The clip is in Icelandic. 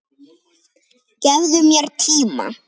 Gefðu mér tíma.